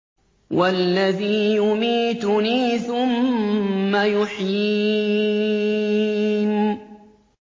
وَالَّذِي يُمِيتُنِي ثُمَّ يُحْيِينِ